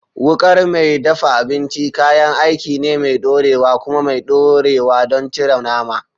Wukar mai dafa abinci kayan aiki ne mai ɗorewa kuma mai ɗorewa don cire nama.